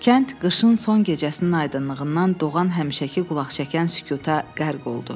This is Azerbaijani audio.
Kənd qışın son gecəsinin aydınlığından doğan həmişəki qulaqçəkən sükuta qərq oldu.